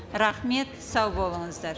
рахмет сау болыңыздар